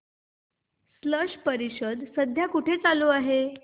स्लश परिषद सध्या कुठे चालू आहे